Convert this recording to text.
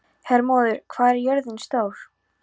Hermóður, hvað er jörðin stór?